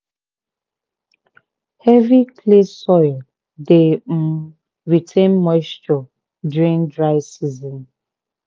heavy clay soil dey um retain moisture during dry season